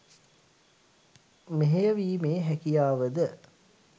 මෙහෙය වීමේ හැකියාව ද